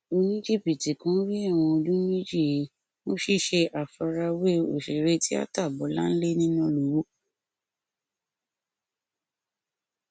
oníjìbìtì kan rí ẹwọn ọdún méjì he fún ṣíṣe àfarawé òṣèré tíáta bọláńlé nínàlọwọ